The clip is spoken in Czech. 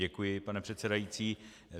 Děkuji, pane předsedající.